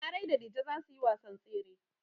Larai da Dije za su yi wasan tsere.